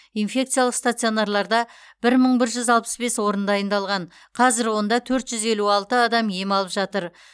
инфекциялық стационарларда бір мың бір жүз алпыс бес орын дайындалған қазір онда төрт жүз елу алты адам ем алып жатыр